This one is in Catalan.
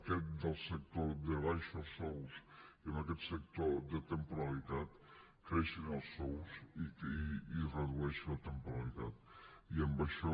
aquest sector de baixos sous i en aquest sector de temporalitat creixin els sous i es redueixi la temporalitat i amb això